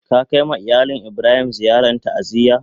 Ka kai ma iyalin Ibrahim ziyaran ta'aziyya?